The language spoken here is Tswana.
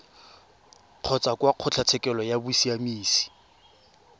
kgotsa kwa kgotlatshekelo ya bosiamisi